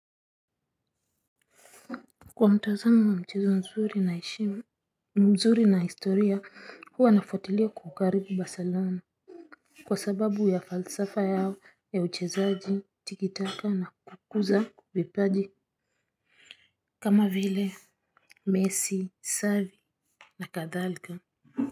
Kwa mtazamo wa mchezo mzuri na historia huwa nafuatilia klabu ya Barcelona. Kwa sababu ya falsafa yao ya uchezaji tikitaka na kukuza vipaji kama vile mesi xavi na kadhalika.